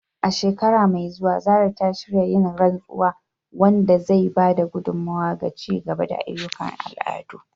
A shekara mai zuwa, Zarah ta shirya yin rantsuwa, wanda zai ba da gudummawa ga ci gaba da ayyukan al'adu.